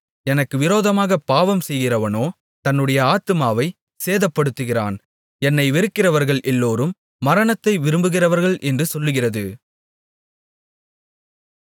எனக்கு விரோதமாகப் பாவம் செய்கிறவனோ தன்னுடைய ஆத்துமாவைச் சேதப்படுத்துகிறான் என்னை வெறுக்கிறவர்கள் எல்லோரும் மரணத்தை விரும்புகிறவர்கள் என்று சொல்லுகிறது